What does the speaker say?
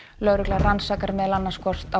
lögregla rannsakar meðal annars hvort á